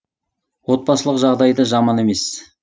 отбасылық жағдайы да жаман емес